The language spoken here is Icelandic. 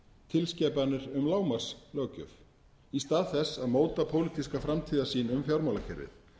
tilskipanir um lágmarkslöggjöf í stað þess að móta pólitíska framtíðarsýn um fjármálakerfið